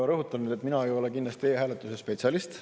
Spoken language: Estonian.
Ma rõhutan, et mina ei ole kindlasti e-hääletuse spetsialist.